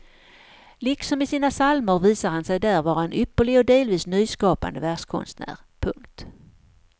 Liksom i sina psalmer visar han sig där vara en ypperlig och delvis nyskapande verskonstnär. punkt